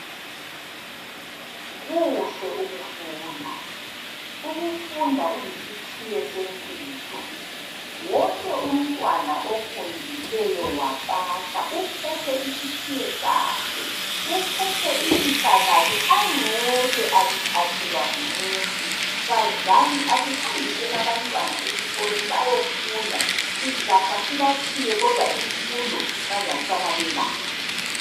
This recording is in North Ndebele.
Kuhle ukufunda. Ukufunda kuyisikhiye sempilo. Wonke umntwana ofundileyo wapasa uphethe isikhiye sakhe. Uphethe ilifa lakhe angeke alithathelwa ngumuntu. Bazali asihambiseni abantwana esikolweni bayofunda sizafa sibatshiye kodwa imfundo bazasala belayo.